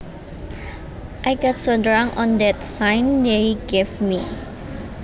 I got so drunk on that shine they gave me